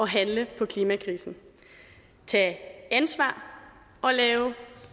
handle på klimakrisen tage ansvar og lave